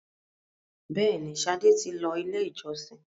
béèni, Sade tí ló ilé ìjósìn.